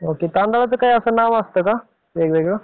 तांदळाचा असा काही नाव असता का? वेगवेगळं.